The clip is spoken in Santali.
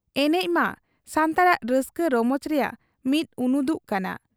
ᱮᱱᱮᱡ ᱢᱟ ᱥᱟᱱᱛᱟᱲᱟᱜ ᱨᱟᱹᱥᱠᱟᱹ ᱨᱚᱢᱚᱡᱽ ᱨᱮᱭᱟᱜ ᱢᱤᱫ ᱩᱱᱩᱫᱩᱜ ᱠᱟᱱᱟ ᱾